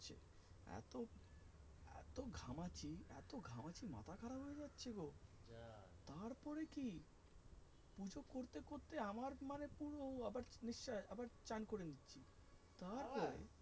তারপরে কি পুজো করতে করতে আমার মানে পুরো আবার আবার চান করে নিচ্ছি তারপর,